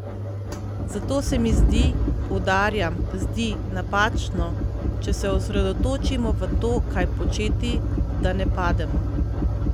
Zato se mi zdi, poudarjam, zdi, napačno, če se osredotočimo v to, kaj početi, da ne pademo.